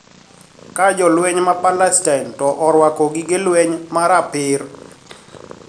Ka Jolweny ma Palestin to orwako gige lweny ma rapir